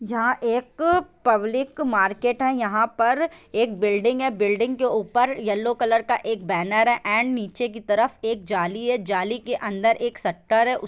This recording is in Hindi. जहाँ एक पब्लिक मार्केट है यहाँ पर एक बिल्डिंग है बिल्डिंग के ऊपर येलो कलर का एक बैरन है एंड नीचे की तरफ एक जाली है जाली के अंदर एक शटर है उ --